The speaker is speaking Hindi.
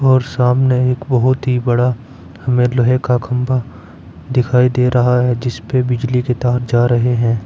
और सामने एक बहुत ही बड़ा हमें लोहे का खंभा दिखाई दे रहा है जिसपे बिजली के तार जा रहे हैं।